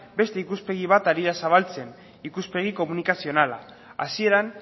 beste ikuspegi bat ari da zabaltzen ikuspegi komunikazionala hasieran